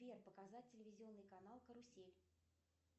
сбер показать телевизионный канал карусель